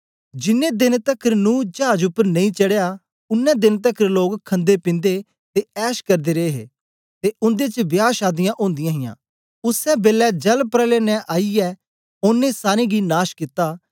जिनैं देंन तकर नूह चाज उपर नेई चढ़या उनै देंन तकर लोक खन्देपिन्दे ते ऐश करदे रे हे ते उन्दे च बियाह शादीयां ओदीयां हां उसै बेलै जलप्रलय ने आईयै ओनें सारें गी नाश कित्ता